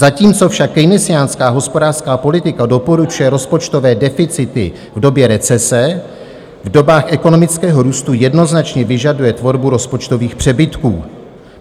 Zatímco však keynesiánská hospodářská politika doporučuje rozpočtové deficity v době recese, v dobách ekonomického růstu jednoznačně vyžaduje tvorbu rozpočtových přebytků.